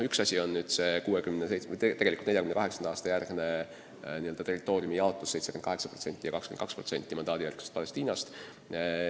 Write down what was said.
Üks asi on nüüd see 1967. aasta, tegelikult 1948. aasta järgne territooriumi jaotus 78% ja 22% mandaadijärgsest Palestiinast.